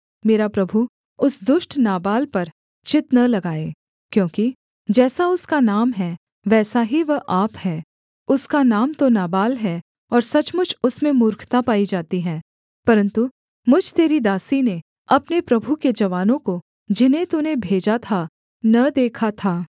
मेरा प्रभु उस दुष्ट नाबाल पर चित्त न लगाए क्योंकि जैसा उसका नाम है वैसा ही वह आप है उसका नाम तो नाबाल है और सचमुच उसमें मूर्खता पाई जाती है परन्तु मुझ तेरी दासी ने अपने प्रभु के जवानों को जिन्हें तूने भेजा था न देखा था